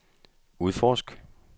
udforsk